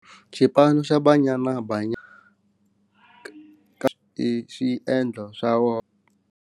Xipano xa Banyana Banyana ka xi endla swa .